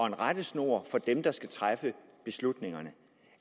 en rettesnor for dem der skal træffe beslutningerne